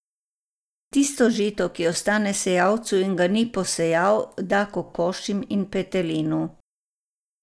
Tisto žito, ki ostane sejalcu in ga ni posejal, da kokošim in petelinu.